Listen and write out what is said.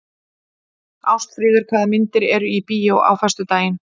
Ásfríður, hvaða myndir eru í bíó á föstudaginn?